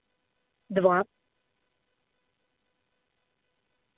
два